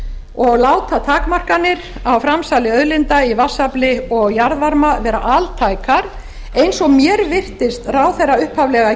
og láta takmarkanir á framsali auðlinda í vatnsafli og jarðvarma vera altækar eins og mér virtist ráðherra upphaflega